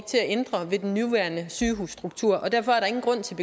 til at ændre ved den nuværende sygehusstruktur og derfor er der ingen grund til